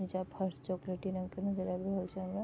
नीचा फर्श चॉकलेटी रंग के नजर आब रहल छै हमरा --